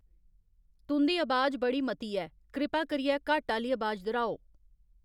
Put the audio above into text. तुं'दी अबाज बड़ी मती ऐ कृपा करियै घट्ट आह्ली अबाज दर्हाओ